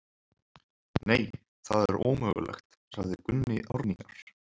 Nei, það er ómögulegt, sagði Gunni Árnýjar.